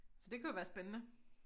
Så det kunne jo være spændende